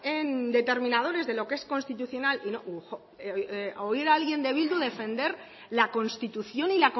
en determinadores de lo que es constitucional oír a alguien de bildu defender la constitución y